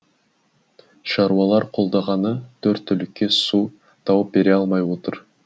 шаруалар қолдағаны төрт түлікке су тауып бере алмай отыр